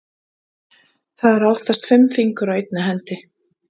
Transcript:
Það eru oftast fimm fingur á einni hendi.